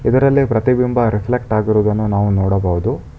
ಇದರಲ್ಲಿ ಪ್ರತಿಬಿಂಬ ರೆಫ್ಲೆಕ್ಟ್ ಆಗಿರುವುದನ್ನು ನಾವು ನೋಡಬಹುದು.